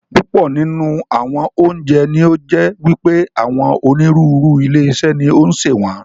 Púpọ̀ nínú àwọn oúnjẹ ní ó jẹ́ wípé àwọn onírúurú ilé-iṣé ni ó ń ṣe wọn.